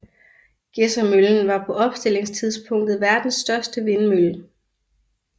Gedsermøllen var på opstillingstidspunktet verdens største vindmølle